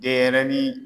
Denɲɛrɛnin